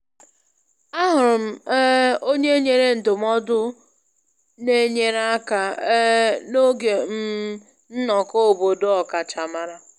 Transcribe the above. Ahụrụ m um onye nyere ndụmọdụ na-enyere aka um n'oge um nnọkọ obodo ọkachamara